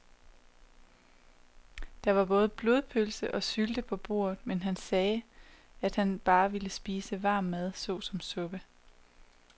Der var både blodpølse og sylte på bordet, men han sagde, at han bare ville spise varm mad såsom suppe.